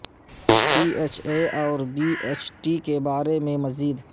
be H A اور B H T کے بارے میں مزید